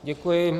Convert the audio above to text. Děkuji.